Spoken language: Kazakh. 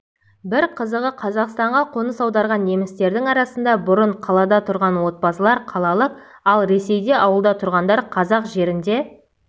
бір қызығы қазақстанға қоныс аударған немістердің арасында бұрын қалада тұрған отбасылар қалалық ал ресейде ауылда тұрғандар қазақ жерінде